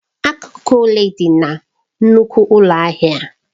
Akụkụ ole dị na nnukwu ụlọ ahịa a?